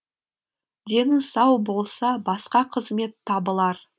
дені сау болса басқа қызмет табылар